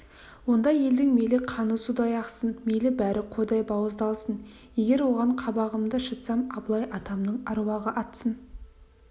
ондай елдің мейлі қаны судай ақсын мейлі бәрі қойдай бауыздалсын егер оған қабағымды шытсам абылай атамның аруағы атсын